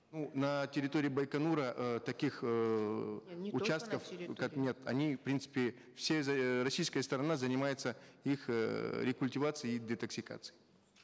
ну на территории байконура э таких эээ не не только на территории как нет они в принципе все эээ российская сторона занимается их эээ рекультивацией и детоксикацией